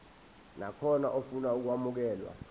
nakhona ofuna ukwamukelwa